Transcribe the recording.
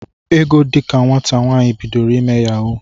Ego dika nwata nwaanyị, bidoro ime yahuu.